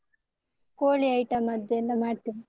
ಕೋಳಿ item ಅದ್ದೆಲ್ಲ ಮಾಡ್ತೇನೆ.